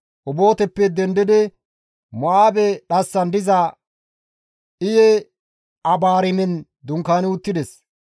Obooteppe dendidi Mo7aabe dhassan diza Iye-Abaarimen dunkaani uttides.